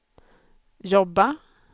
jobba